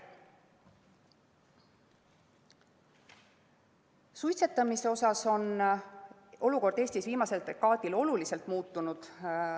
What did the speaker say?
Suitsetamise olukord on Eestis viimasel dekaadil oluliselt muutunud.